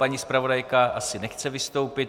Paní zpravodajka asi nechce vystoupit.